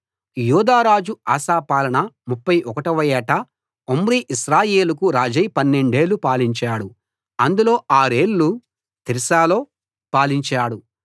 యూదా రాజు ఆసా పాలన 31 వ ఏట ఒమ్రీ ఇశ్రాయేలుకు రాజై పన్నెండేళ్ళు పాలించాడు అందులో ఆరేళ్ళు తిర్సాలో పాలించాడు